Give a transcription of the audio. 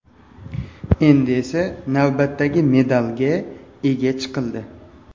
Endi esa navbatdagi medalga ega chiqildi.